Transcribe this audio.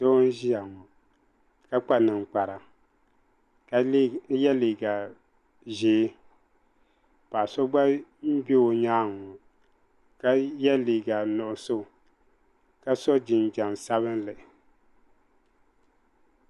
Doo n ziya ŋɔ ka kpa ninkpara ka yiɛ liiga zɛɛ paɣa so gba n bɛ o yɛanga ŋɔ ka yiɛ liiga nuɣiso ka so jinjam sabinli.